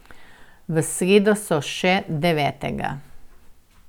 V sredo so še devetega.